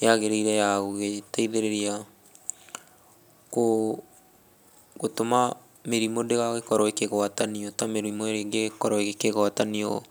yagĩrĩire ya gũgĩteithĩrĩria gũtũma mĩrimũ ndĩgagĩkorwo ĩkĩgwatanio, ta mĩrimũ ĩrĩa ĩngĩkorwo ĩkĩgwatanio...